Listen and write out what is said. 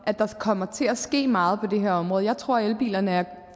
at der kommer til at ske meget på det her område jeg tror elbilerne er